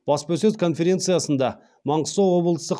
баспасөз конференциясында маңғыстау облыстық